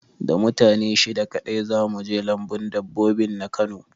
Da mutane shida kaɗai za mu je lambun dabbobi na Kano